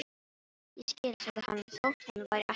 Ég skil- sagði hann þótt hann væri ekki viss.